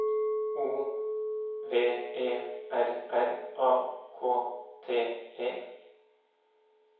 O V E R R A K T E